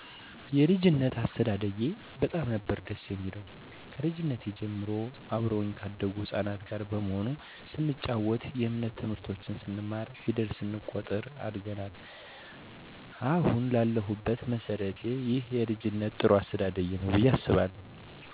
የልጂነት አስተዳደጊ በጣም ነበር ደስ የሚለው ከልጂነት ጀምሬ አብረውኚ ካደጉት ህጻናት ጋር በመሆን ስንጨዋት የእምነት ትምህርቶችን ስንማር ፌደል ስንቆጥር አድገናል አሀን ለሁበት መሠረቴ ይህ የልጂነት ጥሩ አስተዳደጌ ነው ብየ አስባለሁ።